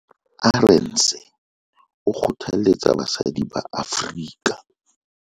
Arendse o kgothaletsa basadi ba Afrika